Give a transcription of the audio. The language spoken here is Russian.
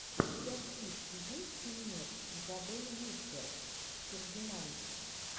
у тебя в списке есть фильмец изабель юппер фердинанд